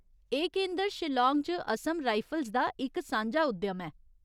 एह् केंदर शिलांग च असम राइफल्स दा इक सांझा उद्यम ऐ।